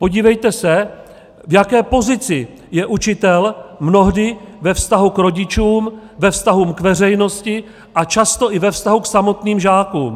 Podívejte se, v jaké pozici je učitel mnohdy ve vztahu k rodičům, ve vztahu k veřejnosti a často i ve vztahu k samotným žákům.